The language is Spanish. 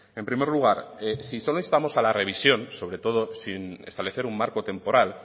en primer lugar si solo instamos a la revisión sobre todo sin establecer un marco temporal